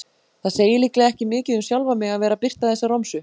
Það segir líklega ekki mikið um sjálfan mig að vera að birta þessa romsu.